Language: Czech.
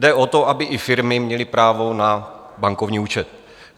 Jde o to, aby i firmy měly právo na bankovní účet.